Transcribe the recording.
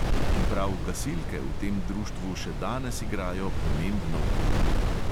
In prav gasilke v tem društvu še danes igrajo pomembno vlogo.